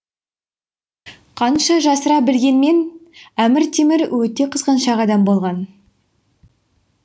қанша жасыра білгенмен әмір темір өте қызғаншақ адам болған